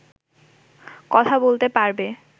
কথা বলতে পারবে